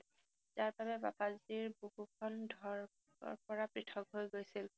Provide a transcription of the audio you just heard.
যাৰফলত বাবাজীৰ বুকুখন ধৰপৰা পৃঠক হৈ গৈছিল।